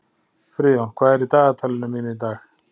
Friðjón, hvað er í dagatalinu mínu í dag?